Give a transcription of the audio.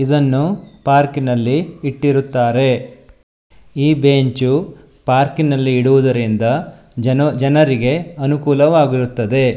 ಇದನ್ನು ಪಾರ್ಕಿನಲ್ಲಿ ಇಟ್ಟಿರುತ್ತಾರೆ ಈ ಬೆಂಚು ಪಾರ್ಕಿನಲ್ಲಿ ಇಡುವುದರಿಂದ ಜನೋ ಜನರಿಗೆ ಅನುಕೂಲವಾಗಿರುತ್ತದೆ.